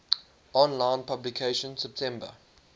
online publication september